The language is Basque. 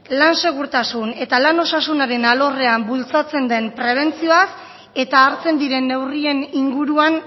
lan segurtasuna eta lan osasunaren alorrean bultzatzen den prebentzioaz eta hartzen diren neurrien inguruan